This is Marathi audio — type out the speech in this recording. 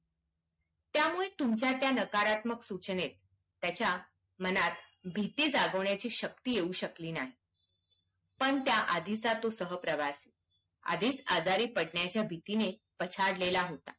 तुमच्या त्या नकारात्मक सूचनेत त्याच्या मनात भीती जगावण्याची शक्ति येऊ शकली नाही पण त्या आधीचा सह प्रवासी आधीच आजारी पडण्याच्या भीतीने पछाडलेला होता